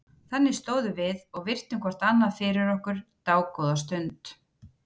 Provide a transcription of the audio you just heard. Þannig stóðum við og virtum hvort annað fyrir okkur dágóða stund.